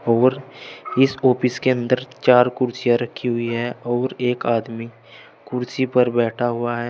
और इस ऑफिस के अंदर चार कुर्सियां रखी हुई है और एक आदमी कुर्सी पर बैठा हुआ है।